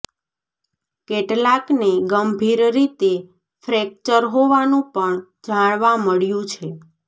કેટલાકને ગંભીર રીતે ફ્રેક્ચર હોવાનું પણ જાણવા મળ્યું છે